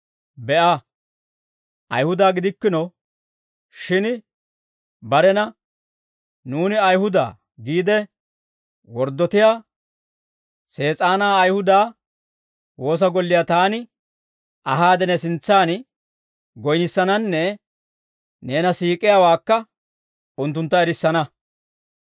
Be'a, Ayihuda gidikkino shin barena, ‹Nuuni Ayihuda› giide worddotiyaa Sees'aana Ayihuda woosa golliyaa taani ahaade, ne sintsan goynissananne neena siik'iyaawaakka unttuntta erissana.